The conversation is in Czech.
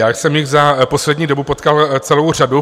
Já jsem jich za poslední dobu potkal celou řadu.